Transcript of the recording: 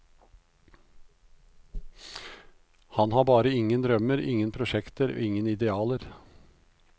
Han har bare ingen drømmer, ingen prosjekter, ingen idealer.